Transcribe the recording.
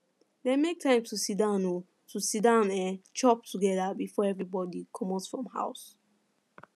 dem make time to siddon um to siddon um chop together before everybody comot from house